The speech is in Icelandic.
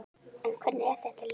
En hvernig er þetta lið?